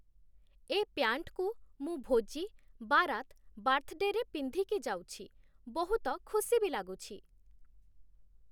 ଏ ପ୍ୟାଣ୍ଟ୍‌କୁ, ମୁ ଭୋଜି, ବାରାତ୍‌, ବାର୍ଥ-ଡେରେ ପିନ୍ଧିକି ଯାଉଛି, ବହୁତ ଖୁସି ବି ଲାଗୁଛି ।